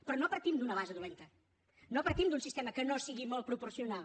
però no partim d’una base dolenta no partim d’un sistema que no sigui molt proporcional